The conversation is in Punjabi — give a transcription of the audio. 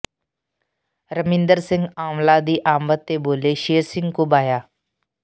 ਰਮਿੰਦਰ ਸਿੰਘ ਆਂਵਲਾ ਦੀ ਆਮਦ ਤੇ ਬੋਲੇ ਸ਼ੇਰ ਸਿੰਘ ਘੁਬਾਇਆ